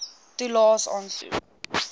toelaes aansoek